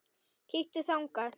Kíktu þangað.